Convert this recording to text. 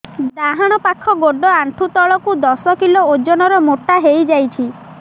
ଡାହାଣ ପାଖ ଗୋଡ଼ ଆଣ୍ଠୁ ତଳକୁ ଦଶ କିଲ ଓଜନ ର ମୋଟା ହେଇଯାଇଛି